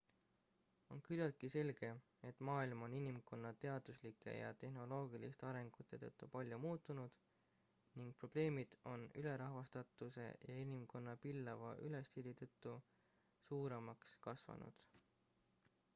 on küllaltki selge et maailm on inimkonna teaduslike ja tehnoloogiliste arengute tõttu palju muutunud ning probleemid on ülerahvastatuse ja inimkonna pillava elustiili tõttu suuremaks kasvanud